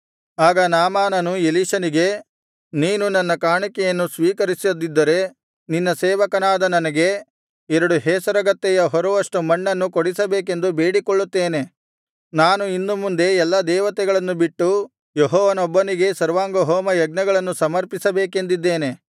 ಆಗ ನಾಮಾನನು ಎಲೀಷನಿಗೆ ನೀನು ನನ್ನ ಕಾಣಿಕೆಯನ್ನು ಸ್ವೀಕರಿಸದಿದ್ದರೆ ನಿನ್ನ ಸೇವಕನಾದ ನನಗೆ ಎರಡು ಹೇಸರಗತ್ತೆಯ ಹೊರುವಷ್ಟು ಮಣ್ಣನ್ನು ಕೊಡಿಸಬೇಕೆಂದು ಬೇಡಿಕೊಳ್ಳುತ್ತೇನೆ ನಾನು ಇನ್ನು ಮುಂದೆ ಎಲ್ಲಾ ದೇವತೆಗಳನ್ನು ಬಿಟ್ಟು ಯೆಹೋವನೊಬ್ಬನಿಗೇ ಸರ್ವಾಂಗಹೋಮಯಜ್ಞಗಳನ್ನು ಸಮರ್ಪಿಸಬೇಕೆಂದಿದ್ದೇನೆ